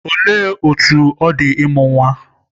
Olee otú ọ dị ịmụ nwa?